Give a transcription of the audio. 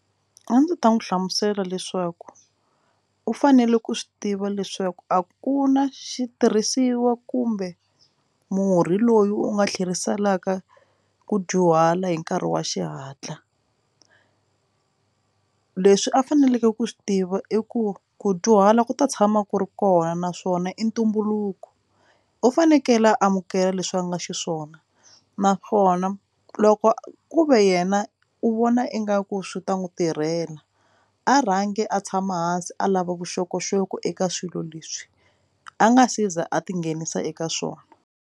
A ndzi ta n'wi hlamusela leswaku u fanele ku swi tiva leswaku a ku na xitirhisiwa kumbe murhi loyi u nga tlheriselaka ku dyuhala hi nkarhi wa xihatla leswi a faneleke ku swi tiva i ku ku dyuhala ku ta tshama ku ri kona naswona i ntumbuluko u fanekele a amukela leswi va nga xiswona naswona loko a ku ve yena u vona ingaku swi ta n'wi tirhela a rhangi a tshama hansi a lava vuxokoxoko eka swilo leswi a nga se za a tinghenisa eka swona.